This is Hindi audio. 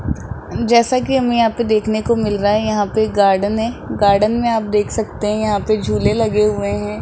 जैसा कि हम यहां पे देखने को मिल रहा है यहां पे गार्डन है गार्डन में आप देख सकते है यहां पे झूले लगे हुए हैं।